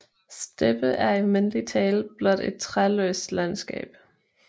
Steppe er i almindelig tale blot et træløst landskab